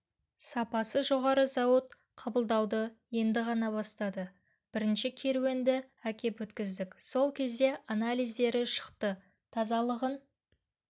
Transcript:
сапасы жоғары зауыт қабылдауды енді ғана бастады бірінші керуенді әкеп өткіздік сол кезде анализдері шықты тазалығын